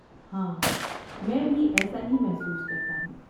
ہاں، میں بھی ایسا ہی محسوس کرتا ہوں۔